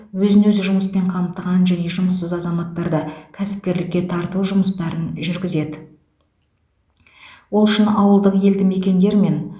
өзін өзі жұмыспен қамтыған және жұмыссыз азаматтарды кәсіпкерлікке тарту жұмыстарын жүргізеді ол үшін ауылдық елді мекендер мен